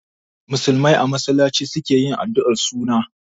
Musulmai a masallaci su ke yin addu'ar suna.